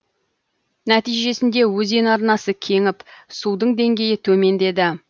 нәтижесінде өзен арнасы кеңіп судың деңгейі төмендеді